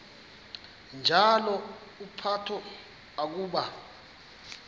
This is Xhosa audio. njalo uphalo akuba